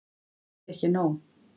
Þá fékk ég nóg.